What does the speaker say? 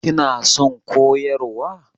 Kina son koyarwa?